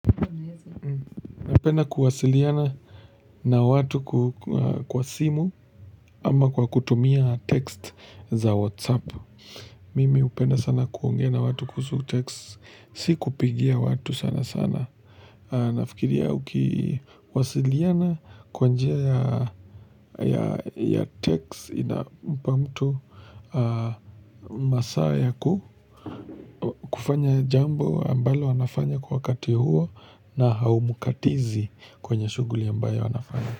Napenda kuwasiliana na watu kwa simu ama kwa kutumia text za WhatsApp Mimi hupenda sana kuongea na watu kuhusu text, si kupigia watu sana sana Nafikiria ukiwasiliana kwa njia ya text ina mpa mtu masaa ya ku kufanya jambo ambalo anafanya kwa wakati huo na haumukatizi kwenye shughuli ambayo anafanya.